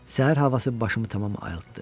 Səhər havası başımı tamam ayıltdı.